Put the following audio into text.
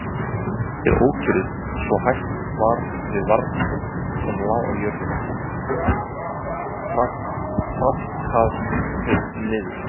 Þeir ókyrrðust svo að hætt var við að varningurinn sem lá á jörðinni traðkaðist niður.